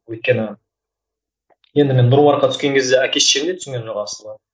өйткені енді мен нұр мүбаркқа түскен кезде әке шешем де түсінген жоқ асылы